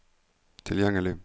tilgjengelig